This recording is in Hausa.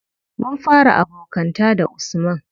Mun fara abokanta da usman.